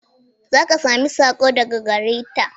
Za ka sami sako daga gare ta.